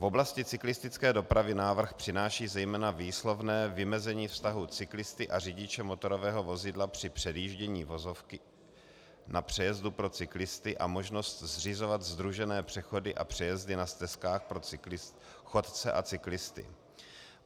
V oblasti cyklistické dopravy návrh přináší zejména výslovné vymezení vztahu cyklisty a řidiče motorového vozidla při přejíždění vozovky na přejezdu pro cyklisty a možnost zřizovat sdružené přechody a přejezdy na stezkách pro chodce a cyklisty.